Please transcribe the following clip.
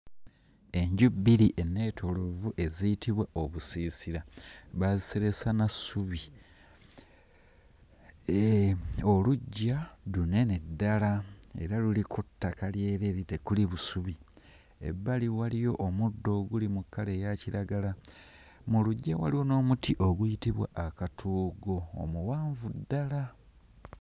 Enju bbiri ennetooloovu eziyitibwa obusiisira baaziseresa na ssubi. Eh oluggya lunene ddala era luliko ttaka lyereere tekuli busubi. Ebbali waliyo omuddo oguli mu kkala eya kiragala. Mu luggya waliwo n'omuti oguyitibwa akatoogo nga muwanvu ddala.